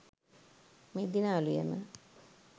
මෙදින අලුයම